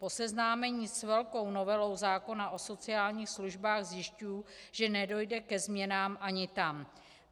Po seznámení s velkou novelou zákona o sociálních službách zjišťuji, že nedojde ke změnám ani tam.